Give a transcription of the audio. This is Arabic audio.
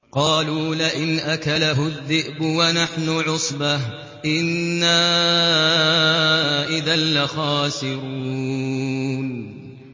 قَالُوا لَئِنْ أَكَلَهُ الذِّئْبُ وَنَحْنُ عُصْبَةٌ إِنَّا إِذًا لَّخَاسِرُونَ